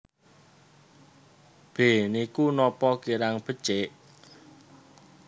B Niku napa kirang becik